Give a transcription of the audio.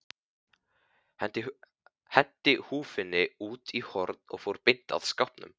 Henti húfunni út í horn og fór beint að skápnum.